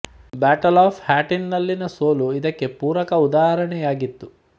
battle of Hattin ನಲ್ಲಿನ ಸೋಲು ಇದಕ್ಕೆ ಪೂರಕ ಉದಾಹರಣೆಯಾಗಿತ್ತು